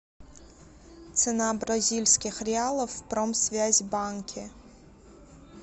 цена бразильских реалов в промсвязьбанке